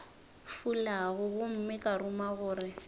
fulago gomme ka ruma gore